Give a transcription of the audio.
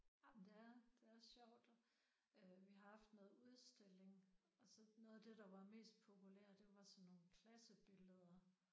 Jamen det er det er sjovt. Øh vi har haft noget udstilling og så noget af det der var mest populær det var sådan nogle klassebilleder